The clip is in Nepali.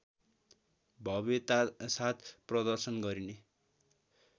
भव्यतासाथ प्रदर्शन गरिने